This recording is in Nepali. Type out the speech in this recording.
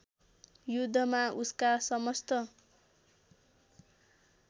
युद्धमा उसका समस्त